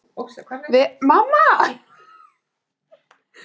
Vera Aðalbjarnardóttir og Guðmundur Sigurjónsson.